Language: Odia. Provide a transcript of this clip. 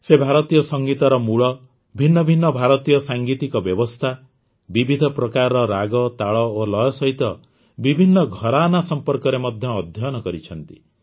ସେ ଭାରତୀୟ ସଂଗୀତର ମୂଳ ଭିନ୍ନ ଭିନ୍ନ ଭାରତୀୟ ସାଂଗୀତିକ ବ୍ୟବସ୍ଥା ବିବିଧ ପ୍ରକାରର ରାଗ ତାଳ ଓ ଲୟ ସହିତ ବିଭିନ୍ନ ଘରାନା ସମ୍ପର୍କରେ ମଧ୍ୟ ଅଧ୍ୟୟନ କରିଛନ୍ତି